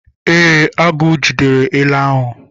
Ee, agụ jidere ele ahụ.